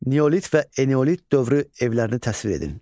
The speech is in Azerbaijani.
Neolit və eneolit dövrü evlərini təsvir edin.